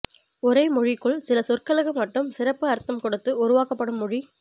ஒரே மொழிக்குள் சில சொற்களுக்கு மட்டும் சிறப்பு அர்த்தம் கொடுத்து உருவாக்கப்படும் மொழி